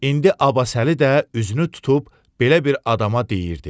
İndi Abbasəli də üzünü tutub belə bir adama deyirdi: